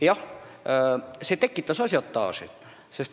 Jah, see tekitas ažiotaaži.